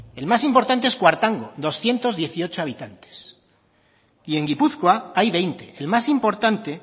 el más importante es kuartango doscientos dieciocho habitantes y en gipuzkoa hay veinte el más importante